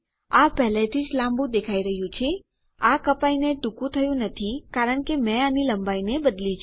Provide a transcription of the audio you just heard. આ પહેલાથી જ લાંબુ દેખાઈ રહ્યું છે આ કપાઈને ટૂંકું થયું નથી કારણ કે મેં આની લંબાઈને બદલી છે